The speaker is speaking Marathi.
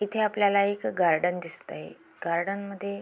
इथे आपल्याला एक गार्डन दिसतय गार्डन मध्ये--